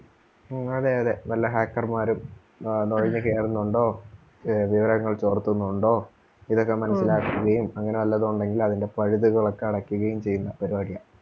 ഉം അതെ അതെ വല്ല hacker മാരും ആഹ് നുഴഞ്ഞു കേറുന്നുണ്ടോ? വി~വിവരങ്ങൾ ചോർത്തുന്നുണ്ടോ? ഇതൊക്കെ മനസ്സിലാക്കുകയും അങ്ങനെ വല്ലതും ഉണ്ടെങ്കിൽ അതിൻ്റെ പഴുതുകൾ ഒക്കെ അടക്കുകയും ചെയ്യുന്ന പരുപാടിയാ.